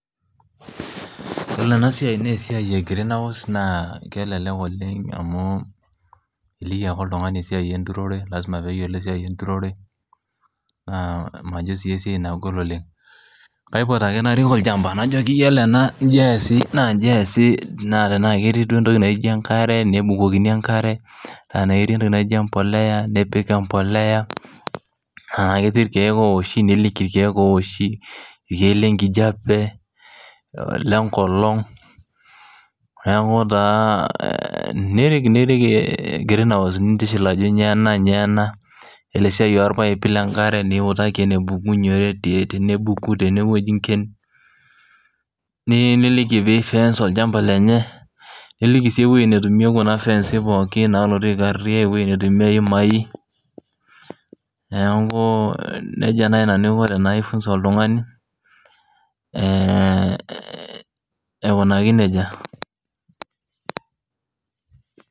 Iyiolo ena siai naa esiai e greenhouse naa kelelek oleng amu, iliki ake oltungani esiai enturore. lasima pee eyiolo esiai enturore, naa majo sii esiai naagol oleng. kaipot ake narik olchampa. najoki iyiolo ena naa iji eesi naa iji eesi, naa tenaa ketii duo entoki naijo enkare nebukokini enkare, naa tenaa ketii entoki naijo empuliya, nipik empuliya, naa tenaa ketii ilkeek ooshi, niliki ilkeek ooshi. olkek lenkijiape, Ile nkolong'.neeku taa nirik, nirik greenhouse nikiliki. ajo kainyioo ena. elw siai olpaipi, lenkare, nikutaki enebukunye .tenebuku, tenewueji inken. niliki pee i fence olchampa lenye, niliki sii ewueji netumie Kuna fensin pookin nikariw ewueji netumie iyimai, neeku nejia naai nanu Aiko tenaifunsa oltungani aikunaki nejia.